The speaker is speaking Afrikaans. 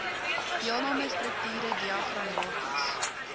deelname strukture diagramaties